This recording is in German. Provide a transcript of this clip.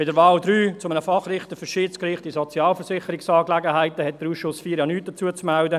Zur Wahl 3 eines Fachrichters für das Schiedsgericht in Sozialversicherungsstreitigkeiten hat der Ausschuss IV ja nicht zu melden.